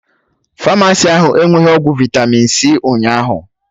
Famasi ahụ enweghi ọgwụ vitami c ụnyaahụ